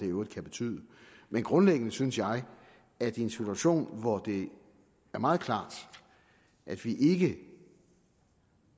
i øvrigt kan betyde men grundlæggende synes jeg at i en situation hvor det er meget klart at vi ikke